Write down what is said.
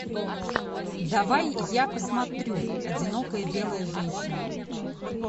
давай я посмотрю одинокая белая женщина